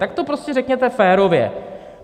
Tak to prostě řekněte férově.